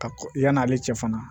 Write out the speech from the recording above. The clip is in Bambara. Ka yann'ale cɛ fana